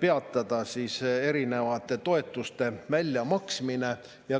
peatada nendele erinevate toetuste väljamaksmine?